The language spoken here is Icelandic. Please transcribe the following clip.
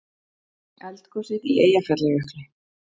Eldgosið í Eyjafjallajökli.